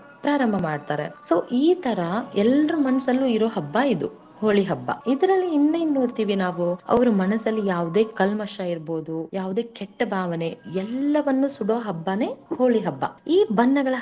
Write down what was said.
ಪ್ರಾರಂಭ ಮಾಡ್ತಾರೆ so ಈ ತರ ಎಲ್ಲರೂ ಮನಸಲ್ಲಿರೋ ಹಬ್ಬ ಇದು ಹೋಳಿ ಹಬ್ಬ. ಇದರಲ್ಲಿ ಇನ್ನೇನು ನೋಡ್ತಿವಿ ನಾವು ಅವರ ಮನಸಲ್ಲಿ ಯಾವುದೇ ಕಲ್ಮಶ ಇರ್ಬೋದು ಯಾವುದೇ ಕೆಟ್ಟ ಭಾವನೆ ಎಲ್ಲವನ್ನು ಸುಡೋ ಹಬ್ಬನೇ ಹೋಳಿ ಹಬ್ಬ ಈ.